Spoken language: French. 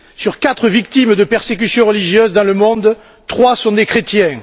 Sur quatre victimes de persécution religieuse dans le monde, trois sont des chrétiens.